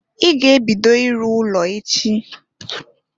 I ga-ebido iru ụlọ echi!